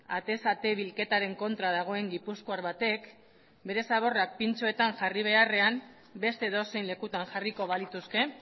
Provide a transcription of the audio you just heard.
atez ate bilketaren kontra dagoen gipuzkoar batek bere zaborrak pintxoetan jarri beharrean beste edozein lekutan jarriko balituzke